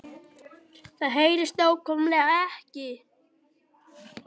Það HEYRIST NÁKVÆMLEGA EKKI